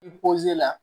I poze la